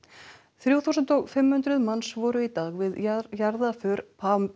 þrjú þúsund og fimm hundruð manns voru í dag við jarðarför